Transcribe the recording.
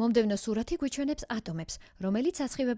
მომდევნო სურათი გვიჩვენებს ატომებს რომელიც